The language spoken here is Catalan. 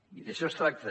i d’això es tracta